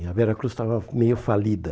E a Veracruz estava meio falida.